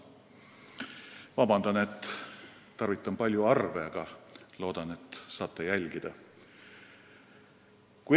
Palun vabandust, et tarvitan kõnes paljusid arve, aga loodan, et suudate jälgida.